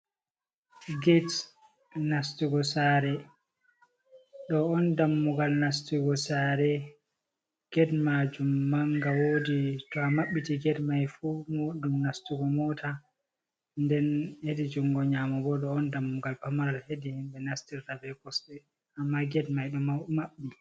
Get nastugo sare ɗo on dammugal nastugo sare get majum manga wodi to a mabbiti ged mai fu wot ɗum nastugo mota nden hedi jungo nyamo bo ɗo on dammugal pamaral hedi himɓɓe nastirta be kosɗe amma ged mai ɗo maɓɓi.